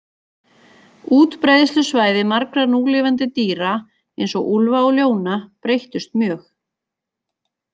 Útbreiðslusvæði margra núlifandi dýra, eins og úlfa og ljóna, breyttust mjög.